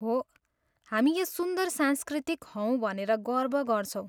हो, हामी यस सुन्दर संस्कृतिका हौँ भनेर गर्व गर्छौं।